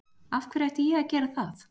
Af hverju ætti ég að gera það?